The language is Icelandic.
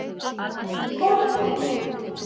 Kolbrún